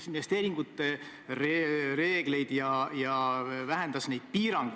Ma ütlesin, et minu arvates on see parim koalitsioon, mis täna saab Eesti riigis olla.